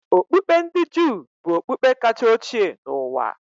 Okpukpe ndi Juu bụ okpukpe kacha ochie n'ụwa.